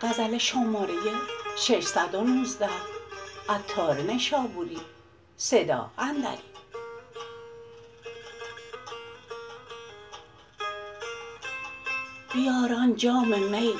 بیار آن جام می